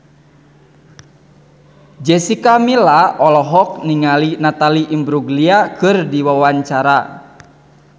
Jessica Milla olohok ningali Natalie Imbruglia keur diwawancara